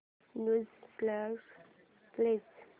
new songs please